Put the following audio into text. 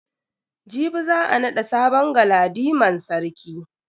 Jibi za a nada sabon galadiman sarki.